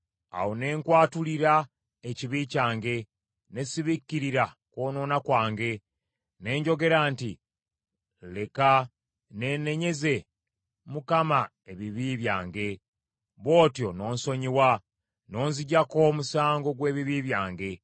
Awo ne nkwatulira ekibi kyange, ne sibikkirira kwonoona kwange. Ne njogera nti, “Leka neenenyeze Mukama ebibi byange.” Bw’otyo n’onsonyiwa, n’onziggyako omusango gw’ebibi byange.